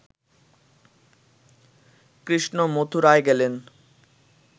কৃষ্ণ মথুরায় গেলেন